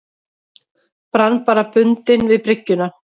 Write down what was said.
Brann bara bundinn við bryggjuna.